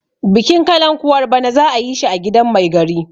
bikin kalankuwar bana za a yi shi a gidan Mai gari